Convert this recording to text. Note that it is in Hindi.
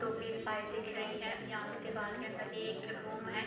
दिख रही हैं | यहाँ पर दीवार के अंदर एक रूम है।